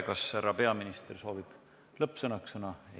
Kas härra peaminister soovib lõppsõnaks sõna?